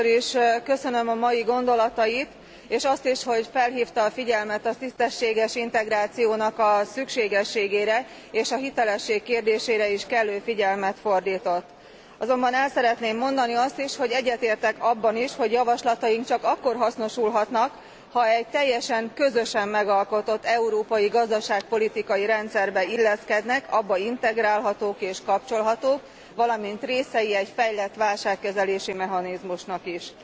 Először is köszönöm a mai gondolatait, és azt is, hogy felhívta a figyelmet a tisztességes integráció szükségességére, és a hitelesség kérdésére is kellő figyelmet fordított. Azonban el szeretném mondani azt is, hogy egyetértek abban is, hogy javaslataink csak akkor hasznosulhatnak, ha egy teljesen közösen megalkotott európai gazdaságpolitikai rendszerbe illeszkednek, abba integrálhatók és kapcsolhatók, valamint részei egy fejlett válságkezelési mechanizmusnak is.